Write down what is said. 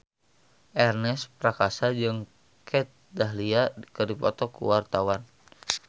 Ernest Prakasa jeung Kat Dahlia keur dipoto ku wartawan